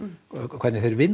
hvernig þeir vinna